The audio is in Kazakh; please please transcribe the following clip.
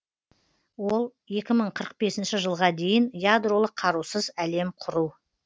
ол екі мың қырық бесінші жылға дейін ядролық қарусыз әлем құру